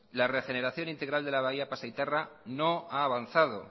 la regeneración integral de la bahía pasaitarra no ha avanzado